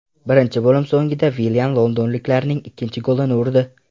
Birinchi bo‘lim so‘nggida Villian londonliklarning ikkinchi golini urdi.